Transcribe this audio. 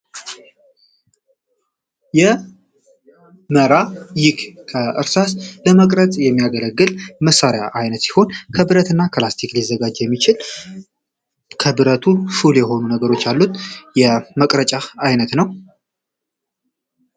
የ መራ ይክ ከእርሳስ ለመቅረጽ የሚያገለግል መሳሪያ ዓይነት ሲሆን ከብረት እና ክላስቲክ ሊዘጋጅ የሚችል ከብረቱ ሹል የሆኑ ነገሮች አሉት የመቅረጫህ ዓይነት ነው